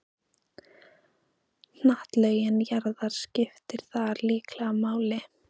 Hnattlögun jarðar skiptir þar líklega máli.